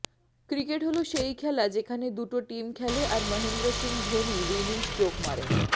cricket হল সেই খেলা যেখানে দুটো টিম খেলে আর মহেন্দ্র সিংহ ধোনি উইনিং স্ট্রোক মারেন